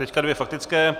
Teď dvě faktické.